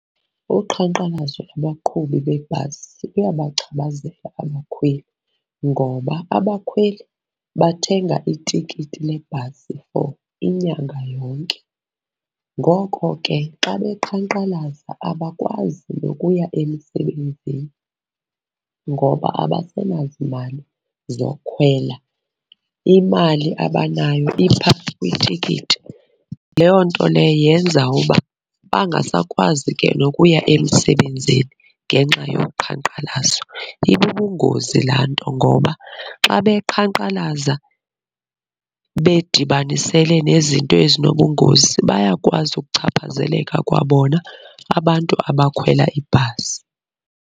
Uqhankqalazo lwabaqhubi beebhasi luyabachaphazela abakhweli. Ngoba abakhweli bathenga itikiti lebhasi for inyanga yonke, ngoko ke xa beqhankqalaza abakwazi nokuya emisebenzini ngoba abasenazimali zokhwela, imali abanayo ipha kwitikiti. Leyo nto leyo yenza uba bangasakwazi ke nokuya emsebenzini ngenxa yoqhankqalazo. Ibubungozi laa nto ngoba xa beqhankqalaza bedibanisele nezinto ezinobungozi bayakwazi ukuchaphazeleka kwabona abantu abakhwela ibhasi.